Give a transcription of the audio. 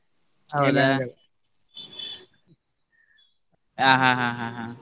ಆ ಹಾ ಹಾ ಹಾ.